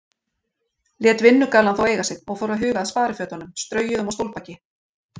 Lét vinnugallann þó eiga sig og fór að huga að sparifötunum, straujuðum á stólbaki.